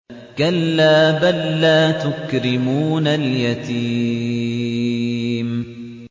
كَلَّا ۖ بَل لَّا تُكْرِمُونَ الْيَتِيمَ